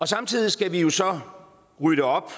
samtidig skal vi jo så rydde op